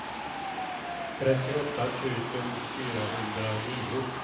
trettioåtta tusen fyrahundranio